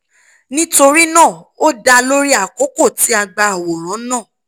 nitorinaa o da lori akoko ti a gba aworan naa